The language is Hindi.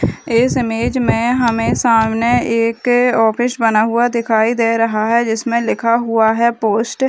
इस इमेज में हमें सामने एक ऑफिस बना हुआ दिखाई दे रहा है जिसमें लिखा हुआ है पोस्ट --